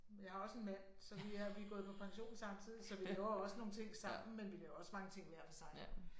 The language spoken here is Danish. Jeg har også en mand så vi er vi er gået på pension samtidigt så vi laver også nogle ting sammen men vi laver også mange ting hver for sig